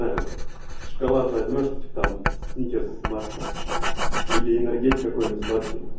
так шоколад возьмёшь ты там сникерс марсом или энергетикой и несладкие